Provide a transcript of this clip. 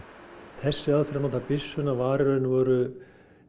þessi aðferð að nota byssuna var í raun og veru